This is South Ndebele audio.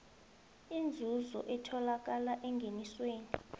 inzuzo etholakala engenisweni